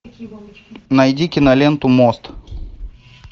найди киноленту мост